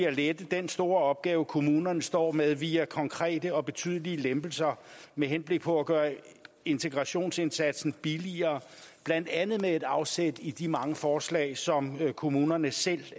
at lette den store opgave kommunerne står med via konkrete og betydelige lempelser med henblik på at gøre integrationsindsatsen billigere blandt andet med afsæt i de mange forslag som kommunerne selv